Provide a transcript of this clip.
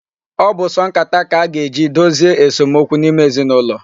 Ọ bụ sọ nkata ka a ga-eji dozie esomokwu n'ime ezinụlọ.